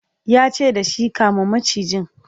yace dashi "kama macijin!